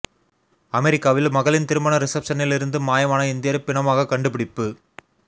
அமெரிக்காவில் மகளின் திருமண ரிஷப்ஷனில் இருந்து மாயமான இந்தியர் பிணமாக கண்டுபிடிப்பு